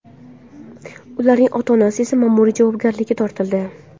Ularning ota-onasi esa ma’muriy javobgarlikka tortildi.